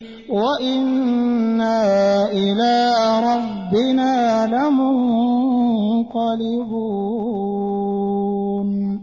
وَإِنَّا إِلَىٰ رَبِّنَا لَمُنقَلِبُونَ